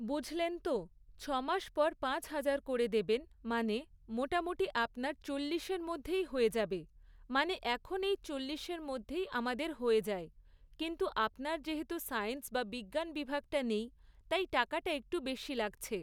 বুঝলেন তো, ছ'মাস পর পাঁচ হাজার করে দেবেন, মানে মোটামুটি আপনার চল্লিশের মধ্যেই হয়ে যাবে, মানে এখন এই চল্লিশের মধ্যেই আমাদের হয়ে যায়, কিন্তু আপনার যেহেতু সায়েন্স বা বিজ্ঞান বিভাগটা নেই, তাই টাকাটা একটু বেশি লাগছে